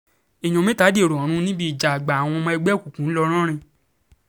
èèyàn mẹ́ta dèrò ọ̀run níbi ìjà àgbà àwọn ọmọ ẹgbẹ́ òkùnkùn ńlọrọrìn